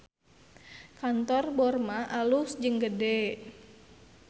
Kantor Borma alus jeung gede